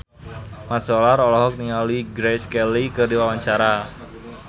Mat Solar olohok ningali Grace Kelly keur diwawancara